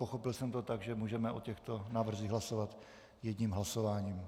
Pochopil jsem to tak, že můžeme o těchto návrzích hlasovat jedním hlasováním.